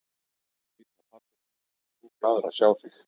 Ég veit að pabbi þinn yrði svo glaður að sjá þig.